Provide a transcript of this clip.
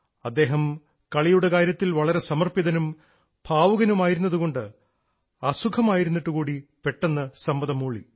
അദ്ദേഹം കളിയുടെ കാര്യത്തിൽ വളരെ സമർപ്പിതനും ഭാവുകനുമായിരുന്നതുകൊണ്ട് അസുഖമായിട്ടു കൂടി പെട്ടെന്ന് സമ്മതം മൂളി